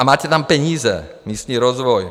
A máte tam peníz, místní rozvoj.